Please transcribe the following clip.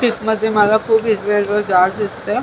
पिकमध्ये मला खुप हिरवेगार झाड दिसत आहे.